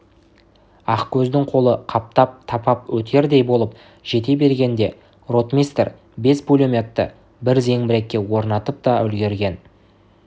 ақкөздің қолы қаптап тапап өтердей болып жете бергенде ротмистр бес пулеметті бір зеңбіректі орнатып та үлгірген